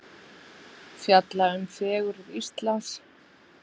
Fjalla um fegurð Íslands